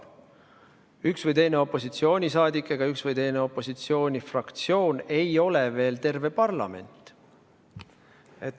Üks või teine opositsioonisaadik ega üks või teine opositsioonifraktsioon ei ole veel terve parlament.